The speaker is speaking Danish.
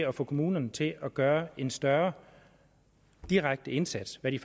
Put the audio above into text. at få kommunerne til at gøre en større direkte indsats hvad de